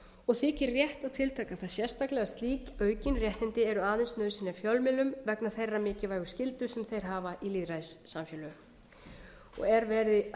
og þykir rétt að tiltaka það sérstaklega að sig aukin réttindi eru aðeins nauðsynleg fjölmiðlum vegna þeirrar mikilvægu skyldu sem þeir hafa í lýðræðissamfélögum og er verið að